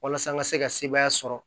Walasa n ka se ka sebaaya sɔrɔ